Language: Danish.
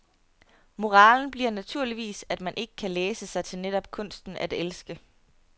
Moralen bliver naturligvis, at man ikke kan læse sig til netop kunsten at elske.